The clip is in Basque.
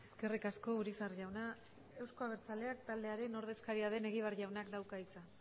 eskerrik asko urizar jauna euzko abertzaleak taldearen ordezkaria den egibar jaunak dauka hitza